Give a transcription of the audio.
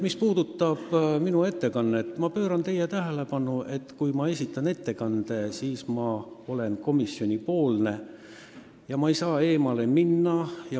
Mis puudutab minu ettekannet, siis ma juhin teie tähelepanu sellele, et kui ma esitan ettekande, siis ma olen komisjoni esindaja ega tohi teemast eemale minna.